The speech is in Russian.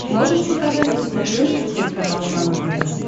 можешь показать на смотрешке телеканал нано тв